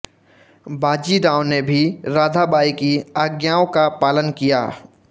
बाजीराव ने भी राधाबाई की आज्ञाओं का पालन किया